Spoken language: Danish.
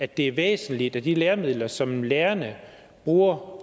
at det er væsentligt at de læremidler som lærerne bruger og